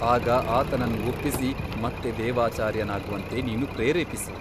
ಆಗ ಆತನನ್ನು ಒಪ್ಪಿಸಿ ಮತ್ತೆ ದೇವಾಚಾರ್ಯನಾಗುವಂತೆ ನೀನು ಪ್ರೇರೇಪಿಸು.